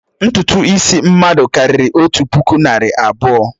Ntutu isi mmadụ karịrị otu puku nari abuo